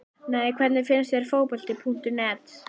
Nei Hvernig finnst þér Fótbolti.net?